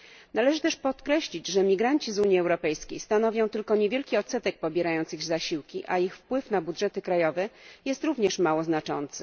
Należy też podkreślić, że imigranci z Unii Europejskiej stanowią tylko niewielki odsetek osób pobierających zasiłki, a ich wpływ na budżety krajowe jest również mało znaczący.